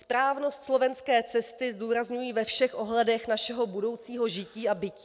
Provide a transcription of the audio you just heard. Správnost slovenské cesty zdůrazňují ve všech ohledech našeho budoucího žití a bytí.